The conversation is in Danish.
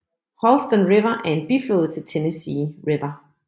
Holston River er en biflod til Tennessee River